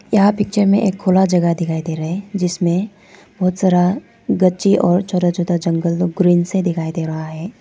यहां पिक्चर में एक खुला जगह दिखाई दे रहे हैं जिसमें बहुत सारा ग़छी और छोटा छोटा जंगल ग्रीन से दिखाई दे रहा है।